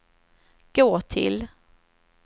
gå till